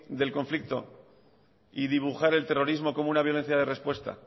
del conflicto y dibujar el terrorismo como una violencia de respuesta